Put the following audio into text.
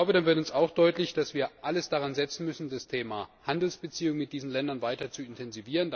Da wird auch deutlich, dass wir alles daran setzen müssen, das Thema Handelsbeziehungen mit diesen Ländern weiter zu intensivieren.